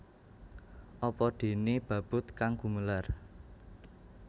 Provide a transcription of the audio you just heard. Apa déné babut kang gumelar